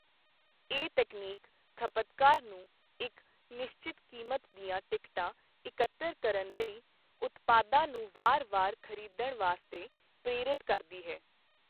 ਇਹ ਤਕਨੀਕ ਖਪਤਕਾਰ ਨੂੰ ਇੱਕ ਨਿਸ਼ਚਤ ਕੀਮਤ ਦੀਆਂ ਟਿਕਟਾਂ ਇਕੱਤਰ ਕਰਨ ਲਈ ਉਤਪਾਦਾਂ ਨੂੰ ਵਾਰ-ਵਾਰ ਖ਼ਰੀਦਣ ਵਾਸਤੇ ਪ੍ਰੇਰਤ ਕਰਦੀ ਹੈ।